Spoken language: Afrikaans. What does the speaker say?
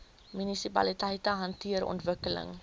munisipaliteite hanteer ontwikkeling